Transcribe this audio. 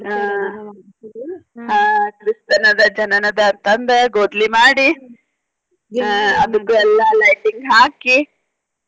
ಆಹ್ ಆಹ್ ಕ್ರಿಸ್ತನದ ಜನನದ ಅಂತ ಅಂದ ಗೊದ್ಲಿ ಮಾಡಿ ಆಹ್ ಅದಕು ಎಲ್ಲಾ lighting ಹಾಕಿ.